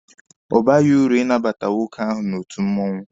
Ọ baghị uru inabata nwoke ahụ n'otu mmụọnwụ.